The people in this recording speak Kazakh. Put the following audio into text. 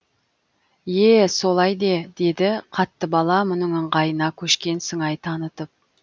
е солай де деді қаттыбала мұның ыңғайына көшкен сыңай танытып